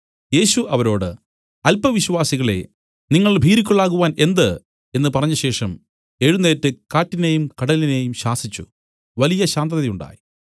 യേശു അവരോട് അല്പവിശ്വാസികളേ നിങ്ങൾ ഭീരുക്കൾ ആകുവാൻ എന്ത് എന്നു പറഞ്ഞശേഷം എഴുന്നേറ്റ് കാറ്റിനേയും കടലിനേയും ശാസിച്ചു വലിയ ശാന്തതയുണ്ടായി